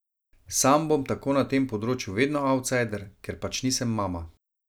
Sam bom tako na tem področju vedno avtsajder, ker pač nisem mama.